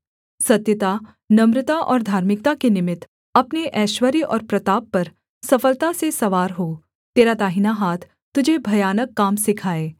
सत्यता नम्रता और धार्मिकता के निमित्त अपने ऐश्वर्य और प्रताप पर सफलता से सवार हो तेरा दाहिना हाथ तुझे भयानक काम सिखाए